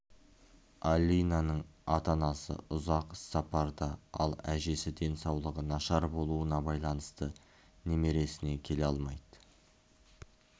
алинаның ата-анасы ұзақ іс-сапарда ал әжесі денсаулығы нашар болуына байланысты немересіне келе алмайды